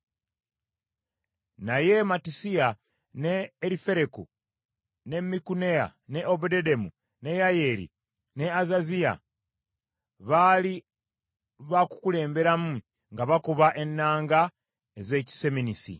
naye Mattisiya, ne Erifereku, ne Mikuneya, ne Obededomu, ne Yeyeri, ne Azaziya baali baakukulemberamu nga bakuba ennanga ez’ekiseminisi.